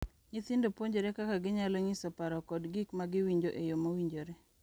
Nyithindo puonjore kaka ginyalo nyiso paro kod gik ma giwinjo e yoo mowinjore,